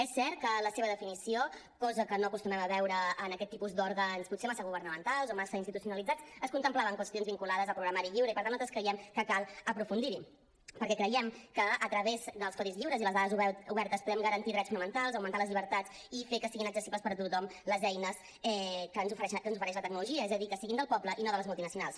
és cert que a la seva definició cosa que no acostumem a veure en aquest tipus d’òrgans potser massa governamentals o massa institucionalitzats es contemplaven qüestions vinculades al programari lliure i per tant nosaltres creiem que cal aprofundir hi perquè creiem que a través dels codis lliures i les dades obertes podem garantir drets fonamentals augmentar les llibertats i fer que siguin accessibles per a tothom les eines que ens ofereix la tecnologia és a dir que siguin del poble i no de les multinacionals